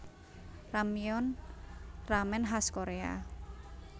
Ramyeon ramen khas Korea